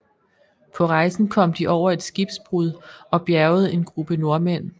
På rejsen kom de over et skibsbrud og bjergede en gruppe nordmænd